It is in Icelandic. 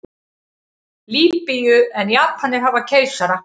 Lýbíu en Japanir hafa keisara.